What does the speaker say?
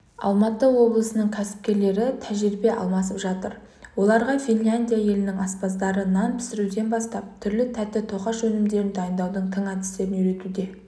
алматы облысының кәсіпкерлері тәжірибе алмасып жатыр оларға финляндия елінің аспаздары нан пісіруден бастап түрлі тәтті тоқаш өнімдерін дайындаудың тың әдістерін үйретуде